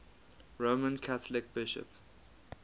roman catholic bishop